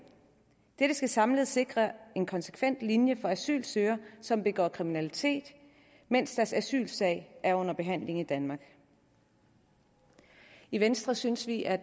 dette skal samlet sikre en konsekvent linje for asylansøgere som begår kriminalitet mens deres asylsag er under behandling i danmark i venstre synes vi at